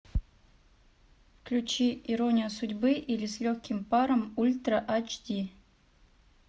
включи ирония судьбы или с легким паром ультра эйч ди